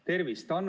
Tervist!